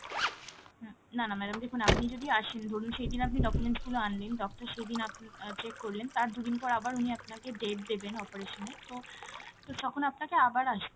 হুম, না না madam দেখুন আপনি যদি আসেন ধরুন সেইদিন আপনি documents গুলো আনলেন doctor সেইদিন আপনা~ check করলেন, তার দুদিন পর আবার উনি আপনাকে date দেবেন operation এর তো, তো তখন আপনাকে আবার আসতে হবে।